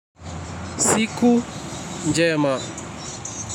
Siku njema.